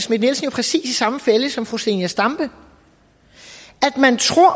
præcis samme fælde som fru zenia stampe man tror